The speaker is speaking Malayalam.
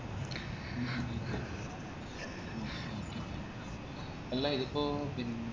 അല്ല ഇതിപ്പോ പിന്ന്